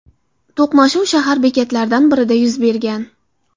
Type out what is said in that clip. To‘qnashuv shahar bekatlaridan birida yuz bergan.